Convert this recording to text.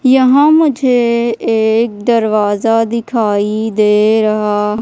यहां मुझे एक दरवाजा दिखाई दे रहा--